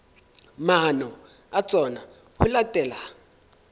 maano a tsona ho latela